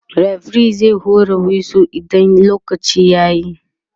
referee zai hura wisu idan lokaci yayi